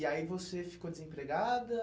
E aí você ficou desempregada?